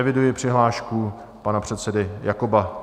Eviduji přihlášku pana předsedy Jakoba.